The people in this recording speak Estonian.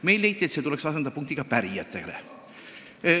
Meil leiti, et see tuleks asendada pärijate punktiga.